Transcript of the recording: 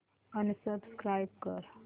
unsubscribe कर